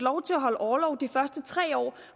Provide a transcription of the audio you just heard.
over